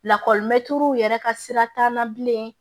Lakɔlimɛtiriw yɛrɛ ka sira t'an na bilen